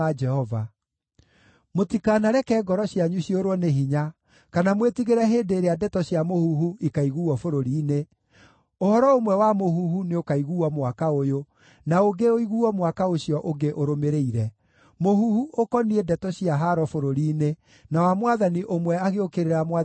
Mũtikanareke ngoro cianyu ciũrwo nĩ hinya, kana mwĩtigĩre hĩndĩ ĩrĩa ndeto cia mũhuhu ikaiguuo bũrũri-inĩ; ũhoro ũmwe wa mũhuhu nĩũkaiguuo mwaka ũyũ, na ũngĩ ũiguuo mwaka ũcio ũngĩ ũrũmĩrĩire, mũhuhu ũkoniĩ ndeto cia haaro bũrũri-inĩ, na wa mwathani ũmwe agĩũkĩrĩra mwathani ũrĩa ũngĩ.